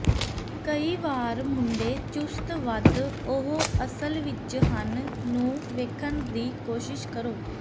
ਕਈ ਵਾਰ ਮੁੰਡੇ ਚੁਸਤ ਵੱਧ ਉਹ ਅਸਲ ਵਿੱਚ ਹਨ ਨੂੰ ਵੇਖਣ ਦੀ ਕੋਸ਼ਿਸ਼ ਕਰੋ